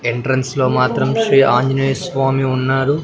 Entrance లో మాత్రం శ్రీ ఆంజనేయ స్వామి ఉన్నారు.